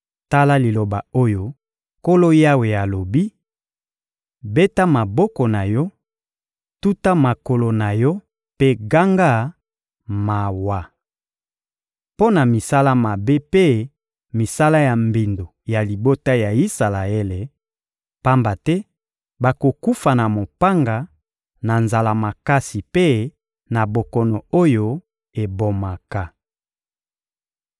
Tala liloba oyo Nkolo Yawe alobi: Beta maboko na yo, tuta makolo na yo mpe ganga: ‹Mawa!› mpo na misala mabe mpe misala ya mbindo ya libota ya Isalaele, pamba te bakokufa na mopanga, na nzala makasi mpe na bokono oyo ebomaka!